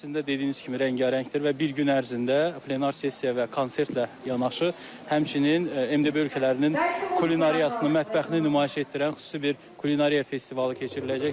əslində dediyiniz kimi rəngarəngdir və bir gün ərzində plenar sessiya və konsertlə yanaşı, həmçinin MDB ölkələrinin kulinariyasını, mətbəxini nümayiş etdirən xüsusi bir kulinariya festivalı keçiriləcəkdir.